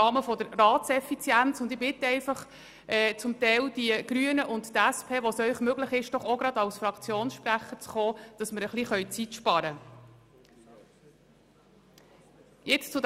Ich bitte die Grünen und die SP-JUSO-PSA dort, wo es ihnen möglich ist, auch gerade als Fraktionssprecher an das Mikrofon zu treten, damit wir ein bisschen Zeit sparen können.